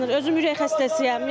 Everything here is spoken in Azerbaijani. Özüm ürək xəstəsiyəm.